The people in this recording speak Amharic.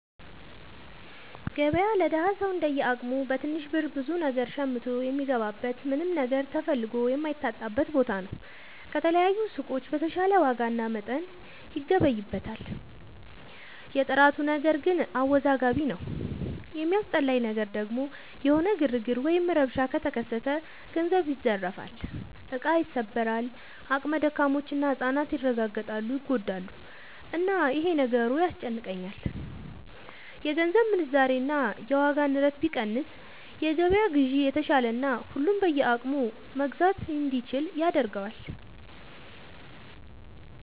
ገበያ ለደሀ ሰው እንደየ አቅሙ በትንሽ ብር ብዙ ነገር ሸምቶ የሚገባበት ምንም ነገር ተፈልጎ የማይታጣበት ቦታ ነው። ከተለያዩ ሱቆች በተሻለ ዋጋና መጠን ይገበይበታል። የጥራቱ ነገር ግን አወዛጋቢ ነው። የሚያስጠላኝ ነገር ደግሞ የሆነ ግርግር ወይም ረብሻ ከተከሰተ ገንዘብ ይዘረፋል፣ እቃ ይሰበራል፣ አቅመ ደካሞች እና ህፃናት ይረጋገጣሉ (ይጎዳሉ)፣እና ይሄ ነገሩ ያስጨንቀኛል። የገንዘብ ምንዛሬ እና የዋጋ ንረት ቢቀንስ የገበያ ግዢ የተሻለና ሁሉም በየአቅሙ መግዛት እንዲችል ያደርገዋል።